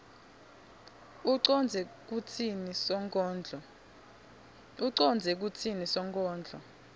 ucondze kutsini sonkondlo